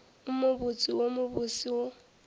wo mobotse wo mobose wo